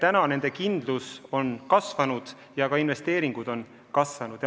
Nüüd on nende kindlus kasvanud ja ka investeeringud on kasvanud.